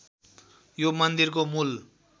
यो मन्दिरको मूल